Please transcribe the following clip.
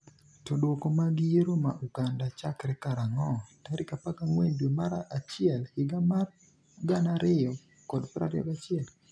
to Duoko mag yiero ma Uganda chakre karang'o tarik 14 dwe mar achiel higa mar 2021?